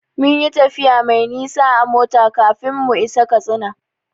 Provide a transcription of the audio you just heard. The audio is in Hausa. Mun yi tafiya mai nisa a mota kafin mu isa Katsina.